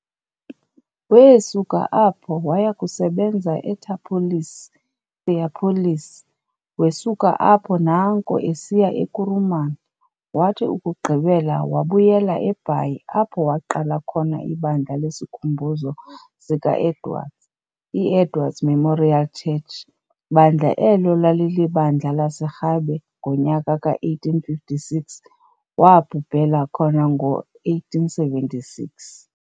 Weesuka apho wayakusebenza eThapholisi, Theopolis, wesuka apho naanko esiya eKuruman, wathi ukugqibela wabuyela eBhayi apho waqala khona ibandla leskikhumbuzo sikaEdwards, i-Edward's Memorial Church, bandla elo lalilibandla laserhabe ngonyaka ka-1856. waabhubhela khoba ngo-1876.